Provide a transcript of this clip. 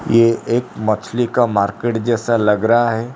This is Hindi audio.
यह एक मछली का मार्केट जैसा लग रहा है।